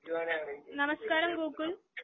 നമസ്കാരം ഗോകുൽ .